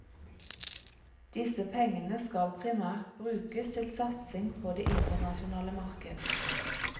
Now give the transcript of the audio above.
Disse pengene skal primært brukes til satsing på det internasjonale marked.